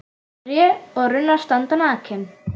Tré og runnar standa nakin.